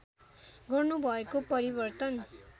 गर्नु भएको परिवर्तन